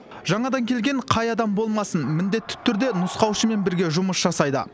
жаңадан келген қай адам болмасын міндетті түрде нұсқаушымен бірге жұмыс жасайды